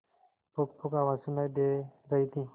पुकपुक आवाज सुनाई दे रही थी